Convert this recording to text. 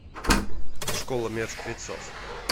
школа мертвецов